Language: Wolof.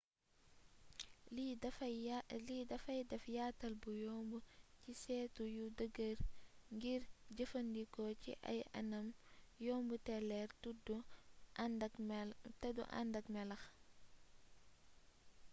lii day deff yaatal bu yomb ci seetu yu dëgër ngir jëfandikoo ci ay anam yomb te leer teddu andakk melax